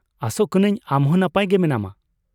ᱟᱥᱚᱜ ᱠᱟᱹᱱᱟᱹᱧ ᱟᱢ ᱦᱚᱸ ᱱᱟᱯᱟᱭ ᱜᱮ ᱢᱮᱱᱟᱢᱟ ᱾